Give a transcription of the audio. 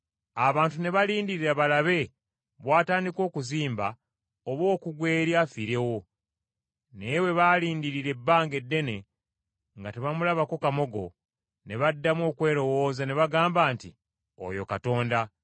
Abantu ne balindirira balabe bw’atandika okuzimba oba okugwa eri afiirewo, naye bwe baalindiririra ebbanga eddene nga tebamulabako kamogo, ne baddamu okwerowooza, ne bagamba nti, “Oyo katonda!”